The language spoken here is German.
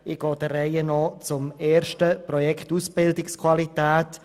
Ich komme zu Ziffer 1, dem Projekt Ausbildungsqualität: